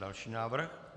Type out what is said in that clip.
Další návrh.